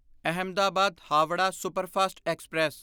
Ahmedabad Howrah superfast express